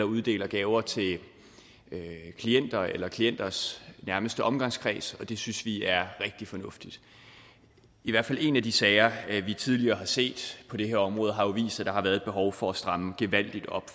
uddeler gaver til klienter eller klienters nærmeste omgangskreds og det synes vi er rigtig fornuftigt i hvert fald en af de sager vi tidligere har set på det her område har jo vist at der har været et behov for at stramme gevaldigt op